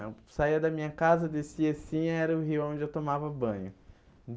Eu saia da minha casa, descia assim, era o rio onde eu tomava banho.